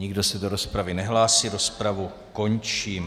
Nikdo se do rozpravy nehlásí, rozpravu končím.